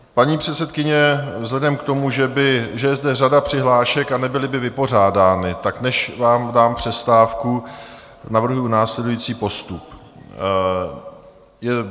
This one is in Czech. Paní předsedkyně, vzhledem k tomu, že je zde řada přihlášek a nebyly by vypořádány, tak než vám dám přestávku, navrhuji následující postup.